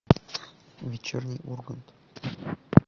вечерний ургант